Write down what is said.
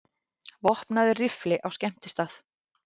Vopnaður riffli á skemmtistað